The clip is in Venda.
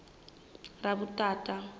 ravhuthata